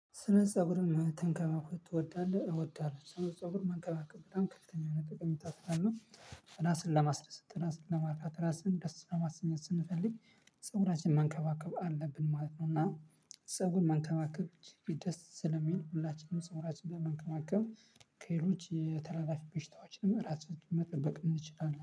ስለ ፀጉርን መከባከብ ትወዳለህ? እወዳለሁ ስነ ፀጉር መከባከብ በጣም ከፍተኛ የሆነ ጥቅም ስላለው። እራስን ለማስደሰት ራስን ለማርካት ራስን ደስ ለማስኘት ስንፈልግ ፀጉራችን መንከባከብ አለብን ማለት ነው። እና ፀጉር መንከባከብ ደስ ስለሚል ሁላችንም ፀጉራችንን መንከማከም ከሄሎች የተላላፊ በሽታዎች እራስ መጠበቅ እንችላለን